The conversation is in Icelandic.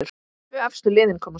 Tvö efstu liðin komast upp.